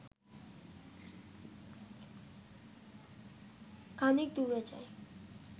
খানিক দূরে যায়